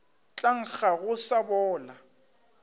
tla nkga go sa bola